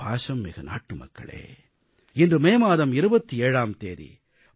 என் பாசமிகு நாட்டுமக்களே இன்று மே மாதம் 27ஆம் தேதி